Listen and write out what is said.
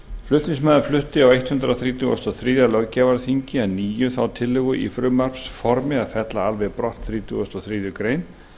flutningsmaður flutti á hundrað þrítugasta og þriðja löggjafarþingi að nýju þá tillögu í frumvarpsformi að fella alveg brott þrítugasta og þriðju greinar